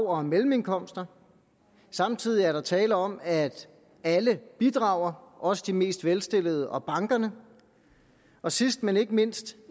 og mellemindkomster samtidig er der tale om at alle bidrager også de mest velstillede og bankerne og sidst men ikke mindst